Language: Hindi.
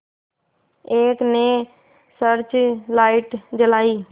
एक ने सर्च लाइट जलाई